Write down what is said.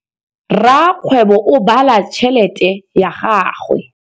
Rakgwêbô o bala tšheletê ya gagwe.